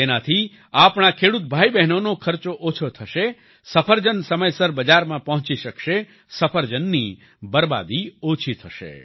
તેનાથી આપણા ખેડૂત ભાઈબહેનોનો ખર્ચો ઓછો થશે સફરજન સમયસર બજારમાં પહોંચી શકશે સફરજનની બરબાદી ઓછી થશે